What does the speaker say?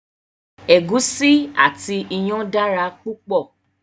Egusi àti iyán dára púpọ̀